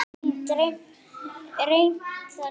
Elín, er reimt þarna?